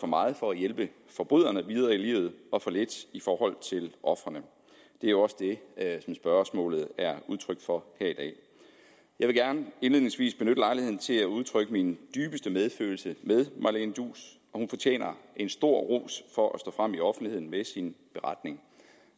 meget for at hjælpe forbryderne videre i livet og for lidt for ofrene det er også det som spørgsmålet er udtryk for jeg vil gerne indledningsvis benytte lejligheden til at udtrykke min dybeste medfølelse med marlene duus hun fortjener stor ros for stå frem i offentligheden med sin beretning